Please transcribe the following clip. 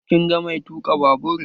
Kin ga mai tuka babur?